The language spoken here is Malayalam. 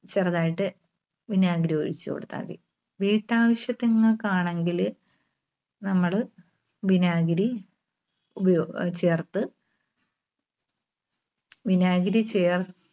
ചെറുതായിട്ട് വിനാഗിരി ഒഴിച്ചുകൊടുത്താൽ മതി. വീട്ടാവശ്യത്തിൻങ്ങൾക്കാണെങ്കില് നമ്മള് വിനാഗിരി ചേർത്ത് വിനാഗിരി ചേർ